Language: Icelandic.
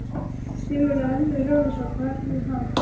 Sigmundur Ernir Rúnarsson: Hvernig þá?